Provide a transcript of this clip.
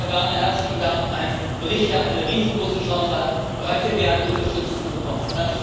Lieber Werner, herzlichen Dank ein Bericht, der eine riesengroße Chance hat, breite Mehrheitsunterstützung zu bekommen.